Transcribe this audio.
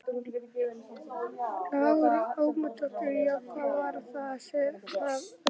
Lára Ómarsdóttir: Já, hvað var það sem að hann náði?